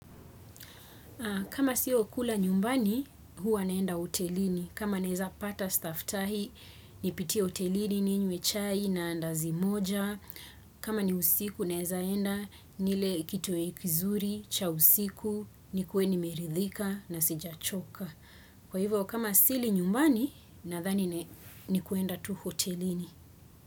Kama sio kula nyumbani, huwa naenda hotelini. Kama naweza pata staftahi, nipitie hotelini, ninywe chai, na andazi moja. Kama ni usiku, nawezaenda nile kitoweo kizuri cha usiku nikuwe nimeridhika, na sijachoka. Kwa hivyo, kama sili nyumbani, nadhani ni kwenda tu hotelini.